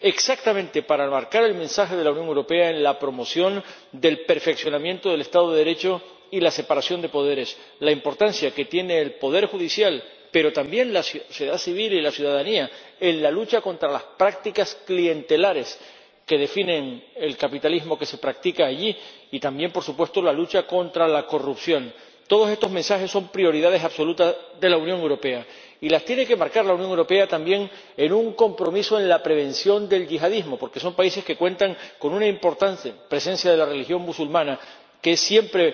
Exactamente para enmarcar el mensaje de la Unión Europea en la promoción del perfeccionamiento del Estado de Derecho y la separación de poderes la importancia que tiene el poder judicial, pero también la sociedad civil y la ciudadanía, en la lucha contra las prácticas clientelares que definen el capitalismo que se practica allí y también, por supuesto, en la lucha contra la corrupción. Todos estos mensajes son prioridades absolutas de la Unión Europea, y las tiene que enmarcar la Unión Europea también en un compromiso para la prevención del yihadismo, porque son países que cuentan con una importante presencia de la religión musulmana, que siempre